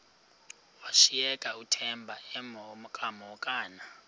washiyeka uthemba emhokamhokana